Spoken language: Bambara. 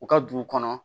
U ka dugu kɔnɔ